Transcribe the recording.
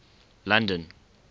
london